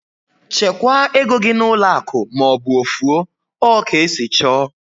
Chekwaa égo gị n'ụlọ akụ maọbụ ofu o! Ọ ka esi chọọ